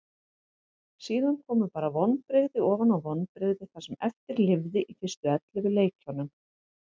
Síðan komu bara vonbrigði ofan á vonbrigði það sem eftir lifði í fyrstu ellefu leikjunum.